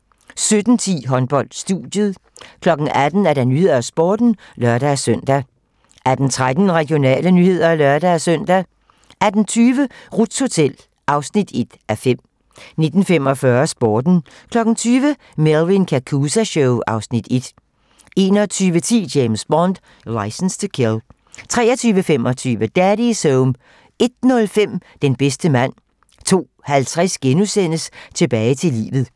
17:10: Håndbold: Studiet 18:00: 18 Nyhederne og Sporten (lør-søn) 18:13: Regionale nyheder (lør-søn) 18:20: Ruths Hotel (1:5) 19:45: Sporten 20:00: Melvin Kakooza Show (Afs. 1) 21:10: James Bond: Licence to Kill 23:25: Daddy's Home 01:05: Den bedste mand 02:50: Tilbage til livet *